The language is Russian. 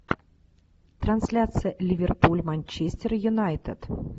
трансляция ливерпуль манчестер юнайтед